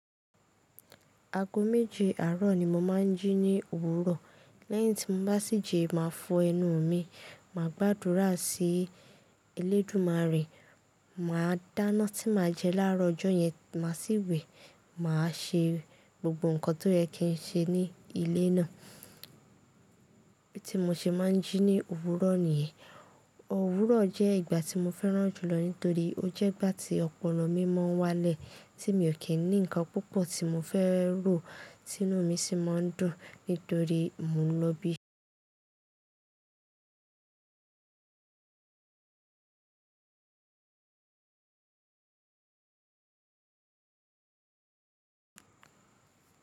Ago meje aro ni mo n ma ji ni owuro, leyin ti mo ba si ji, ma for enu mi, ma gbadura si Olodunare, maa dana ti ma je ni aaro ojo yen, maa si we. Màá ṣe gbogbo nǹkan tó yẹ kí n ṣe ní ilé náà. Bí tí mo ṣe máa ń jí ní òwúrọ̀ nìyẹn. Òwúrọ̀ jẹ́ ìgbà tí mo fẹ́ràn jùlọ nítorí ó jẹ́ ìgbà tí ọpọ́lo mi máa ń wálẹ̀, tí mi ò kí ń ní nǹkan púpọ̀ tí mo fẹ́ rò, ti ini mi sì mo ń dùn nítorí mo ń lọ bí.